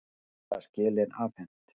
Gullna skelin afhent